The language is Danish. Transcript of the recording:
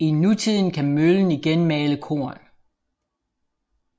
I nutiden kan møllen igen male korn